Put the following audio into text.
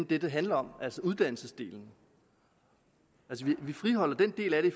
det det handler om altså uddannelsesdelen vi friholder den del af det